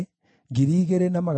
na cia Binui ciarĩ 648